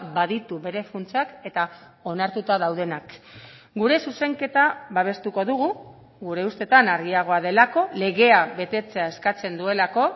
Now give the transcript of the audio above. baditu bere funtsak eta onartuta daudenak gure zuzenketa babestuko dugu gure ustetan argiagoa delako legea betetzea eskatzen duelako